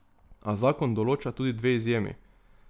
A zakon določa tudi dve izjemi.